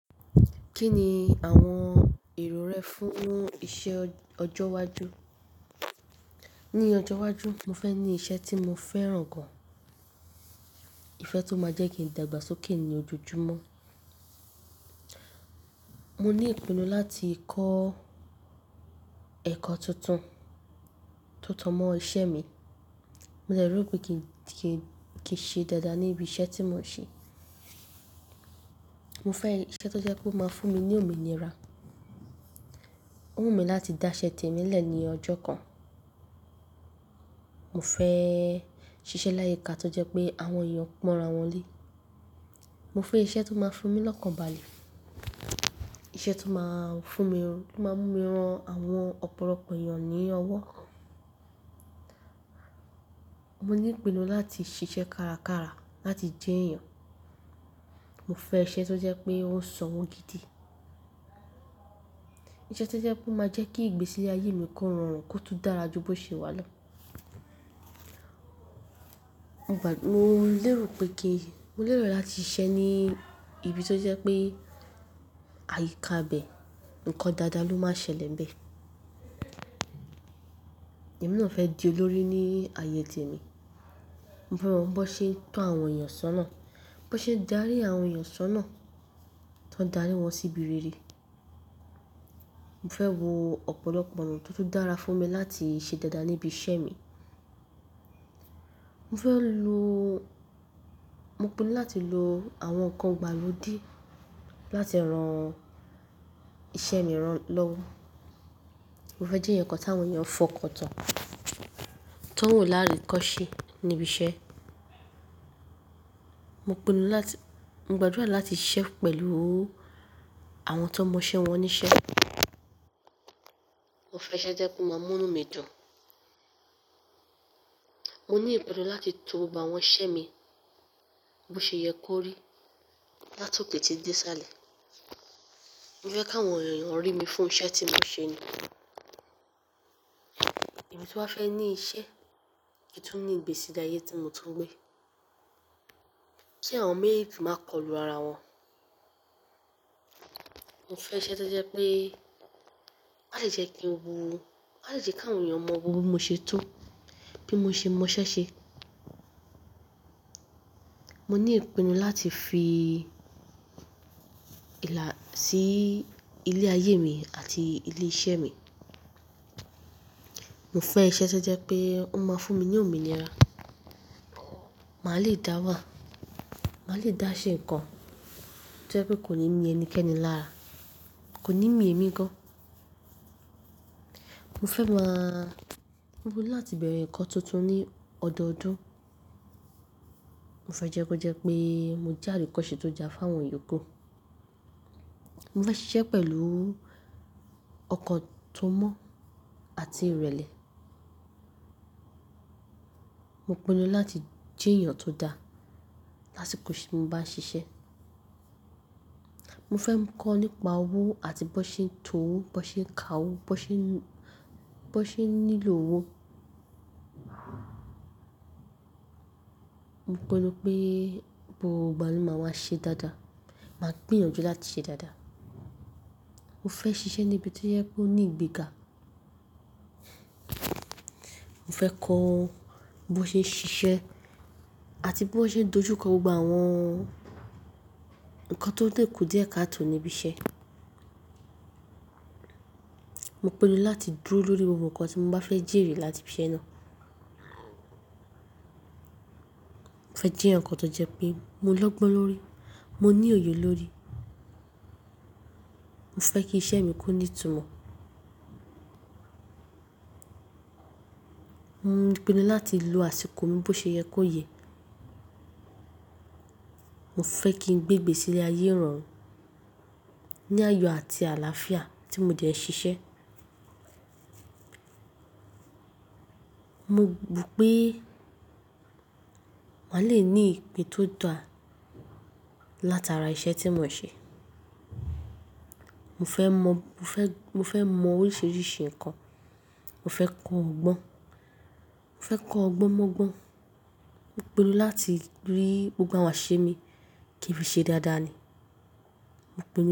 Kí ni àwọn èrò rẹ fún iṣẹ́ ọjọ́ iwájú? Ní ọjọ́ iwájú, mo fẹ́ ní iṣẹ́ tí mo fẹ́ràn gan. Ifẹ tó máa jẹ́ kí n dàgbàsókè ní ojojúmọ́. Mo ní ìpinnu láti kọ́ ẹ̀kọ́ tuntun tó tan mọ́ iṣẹ́ mi. Mo lè rò pé kí n ṣe dáadáa níbi iṣẹ́ tí mo ń ṣe. Mo fẹ́ iṣẹ́ tó jẹ́ pé ó máa fún mi ní òmìnira. Ó wù mí láti dá iṣẹ́ tèmi lẹ̀ ní ọjọ́ kan. Mo fẹ́ ṣiṣẹ́ láyé ká tó jẹ́ pé àwọn èèyàn pọ̀ran wọ́n lé. Mo fẹ́ iṣẹ́ tó máa fún mi lọ́kàn balẹ̀. Iṣẹ́ tó máa fún mi, tó máa mú mi ran àwọn ọ̀pọ̀lọpọ̀ èèyàn ní ọwọ́. Mo ní ìpinnu láti ṣiṣẹ́ kárakára láti jẹ́ èèyàn. Mo fẹ́ iṣẹ́ tó jẹ́ pé ó ń ṣọwọ́ gidi. Iṣẹ́ tó jẹ́ pé ó máa jẹ́ kí ìgbésí ayé mi kóran kó tún dára ju tó ṣe wà lọ. Mo lérò pé kí n, mo lérò láti ṣiṣẹ́ ní ibi tó jẹ́ pé àyíká bẹ, ǹkan dáadáa ló máa ṣẹlẹ̀ bẹ. Èmi náà fẹ́ di olórí ní ayé tèmi. Mo mọ̀ bó ṣe ń tọ́ àwọn èèyàn sọ́nà, bó ṣe ń darí àwọn èèyàn sọ́nà, kí wọ́n darí wọn sí ibi rere. Mo fẹ́ wo ọ̀pọ̀lọpọ̀ ọ̀nà tó tún dára fún mi láti ṣe dáadáa níbi iṣẹ́ mi. Mo fẹ́ lo, mo pinnu láti lo àwọn ǹkan ìgbàlódé láti ran iṣẹ́ mi rán lọ́wọ́. Mo fẹ́ jẹ́ ǹkan tí àwọn èèyàn fọkàn tán, tó wù lára ìkọ́ṣẹ́ níbi iṣẹ́. Mo pinnu láti, mo gbàdúrà láti ṣiṣẹ́ pẹ̀lú àwọn tó mọ iṣẹ́ wọn ní iṣẹ́. Mo fẹ́ iṣẹ́ tó jẹ́ pé ó máa múrun mi dùn. Mo ní ìpinnu láti to ba àwọn iṣẹ́ mi bó ṣe yẹ kó rí láti òkè tí di sálẹ̀. Mo fẹ́ káwọn èèyàn rí mi fún iṣẹ́ tí mò ń ṣe nù. Ìbí tí wá fẹ́ ní iṣẹ́ kì í tún ní ìgbésí ayé tí mo tún ń gbé. Kí àwọn mẹ́rẹ̀ètì máa kọlù ara wọn. Mo fẹ́ iṣẹ́ tó jẹ́ pé, kó ṣe jẹ́ kí n wo, kó ṣe jẹ́ káwọn èèyàn mọ́ gbogbo bí mo ṣe tú, bí mo ṣe mọ iṣẹ́ ṣe. Mo ní ìpinnu láti fi ìlà sí ilé ayé mi àti ilé iṣẹ́ mi. Mo fẹ́ iṣẹ́ tó jẹ́ pé ó máa fún mi ní òmìnira. Màá le dá wà. Màá le dá ṣe ǹkan tó jẹ́ pé kò ní ní ẹnikẹ́ni lára. Kò ní mí èmi gan. Mo fẹ́ máa, mo pinnu láti bẹ̀rẹ̀ ǹkan tuntun ní ọdọọdún. Mo fẹ́ jẹ́ kó jẹ́ pé mo jẹ́ àríkọ́ṣe tó já fún àwọn ìyókù. Mo fẹ́ ṣiṣẹ́ pẹ̀lú ọkọ̀ tó mọ́ àti ìrẹ̀lẹ̀. Mo pinnu láti jẹ́ èèyàn tó dá lásìkò tí mo bá ń ṣiṣẹ́. Mo fẹ́ mọ̀ nípa owó àti bó ṣe ń to owó, bó ṣe ń kà owó, bó ṣe ń, bó ṣe ń nílò owó. Mo pinnu pé gbogbo ìbámu máa wá ṣe dáadáa. Màá gbìyànjú láti ṣe dáadáa. Mo fẹ́ ṣiṣẹ́ ní ibi tó yẹ kó ní ìgbéga. Mo fẹ́ kọ́ bó ṣe ń ṣiṣẹ́ àti bó ṣe ń dojú kọ gbogbo àwọn ǹkan tó n dínkù díẹ̀ káàto níbi iṣẹ́. Mo pinnu láti dúró lórí gbogbo ǹkan tí mo bá fẹ́ jíèrè láti ibi iṣẹ́ náà. Mo fẹ́ jẹ́ ǹkan tó jẹ́ pé mo lọ́gbọ́n lórí, mo ní òye lórí. Mo fẹ́ kí iṣẹ́ mi kó ní ìtumọ̀. Mo pinnu láti lo àsìkò mi bó ṣe yẹ kó yẹ. Mo fẹ́ kí n gbé ìgbésí ayé rọrùn, ní àyò àti àlàáfíà tí mo jẹ́ ń ṣiṣẹ́. Mo gbì pé màá le ní ìpè tó dùn láti ara iṣẹ́ tí mò ń ṣe. Mo fẹ́ mọ̀, mo fẹ́, mo fẹ́ mọ̀ oríṣiríṣi ǹkan. Mo fẹ́ kọ́ ọgbọ́n. Mo fẹ́ kọ́ ọgbọ́n mọ́ ọgbọ́n. Mo pinnu láti rí gbogbo àwọn iṣẹ́ mi kí n ṣe dáadáa ni. Mo pinnu.